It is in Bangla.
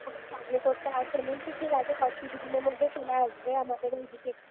survey করতে আসেনি তো ঠিক আছে, কিছুদিনের মধ্যেই চলে আসবে আমাদের ও এদিকে